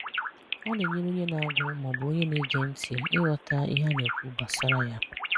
Ọ̀ na-ènyèrè̀ onyè na-àgụ̀ ma ọ̀ bụ̀ onyè na-ègè ntị̀ ị́ghọ̀tà̀ ihè a na-ekwù gbasàrà ya